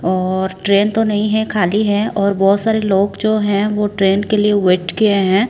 और ट्रेन तो नहीं है खाली है और बहुत सारे लोग जो है वो ट्रेन के लिए वेट किए हैं।